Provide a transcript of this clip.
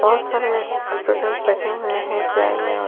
बहत सारे ए स्टूडेंट्स बैठे हुए हैं चेयर में और --